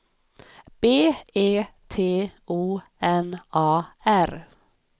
B E T O N A R